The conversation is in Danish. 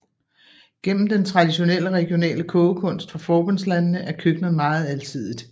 Gennem den traditionelle regionale kogekunst fra forbundslandene er køkkenet meget alsidigt